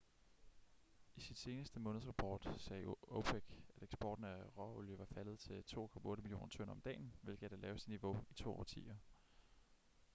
i sin seneste månedsrapport sagde opec at eksporten af råolie var faldet til 2,8 millioner tønder om dagen hvilket er det laveste niveau i to årtier